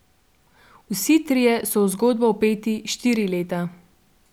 Vsi trije so v zgodbo vpeti štiri leta.